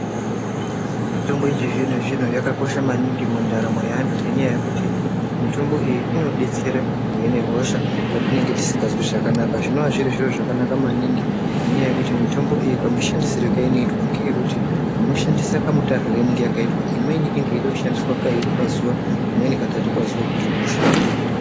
Mitombo yechizvino-zvino yakakosha maningi mundaramo yeanthu ngendaa yekuti mitombo iyo inodetsera uine hosha petinenge tisikazwi zvakanaka. Zvinonga zviri zviro zvakanaka maningi ngendaa yekuti mitombo iyi kamushandisirwe keinoitwa ngekekuti, unoshandisa kamutarirwe keinenge yakaitwa, imweni inenge yeida kushandiswa kairi pazuwa, imweni katatu pazuwa kuti hosha ihine.